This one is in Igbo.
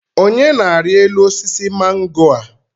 Onye na-arị elu osisi mango a?